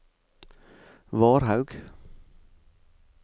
Varhaug